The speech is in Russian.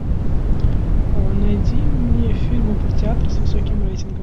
найди мне фильмы про театр с высоким рейтингом